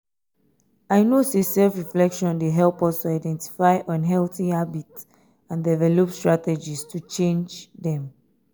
i know say self-reflection dey help us to identify unhealthy habits and develop strategies to change dem.